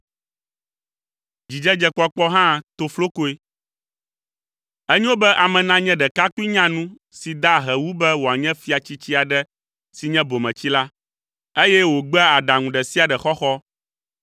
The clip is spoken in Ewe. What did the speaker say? Enyo be ame nanye ɖekakpui nyanu si da ahe wu be wòanye fia tsitsi aɖe si nye bometsila, eye wògbea aɖaŋu ɖe sia ɖe xɔxɔ.